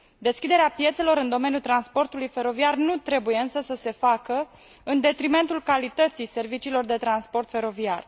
Deschiderea piețelor în domeniul transportului feroviar nu trebuie însă să se facă în detrimentul calității serviciilor de transport feroviar.